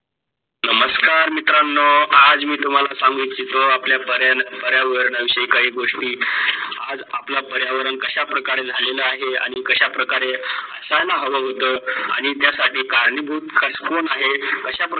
नमस्कार मित्रानो, आज मी तुम्हाला सांगणार आपल्या पर्यावरण, पर्यावरणांची काई गोष्टी. आज आपल्या पर्यावरण कश्या परकारे झ्हालेला आहे, आणी कशा प्रकारे काही महावाद्य आणी त्या साठी कारणीभूत कस्तुन आहे अशा प्रकारे